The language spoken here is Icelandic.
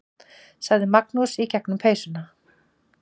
sagði Magnús í gegnum peysuna.